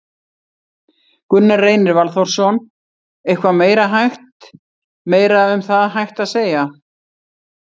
Gunnar Reynir Valþórsson: Eitthvað meira hægt, meira um það hægt að segja?